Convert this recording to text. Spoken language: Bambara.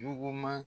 Nuguman